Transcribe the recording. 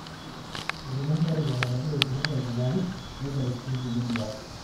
elimu inkarikok enegira olturru aikunarri neitau sii inkjlie duaat